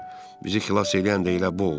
Bizi xilas eləyən də elə bu oldu.